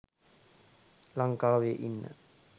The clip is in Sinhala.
ලංකාවේ ඉන්න